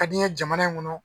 Ka di n ye jamana in kɔnɔ.